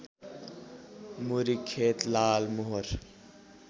मुरी खेत लालमोहर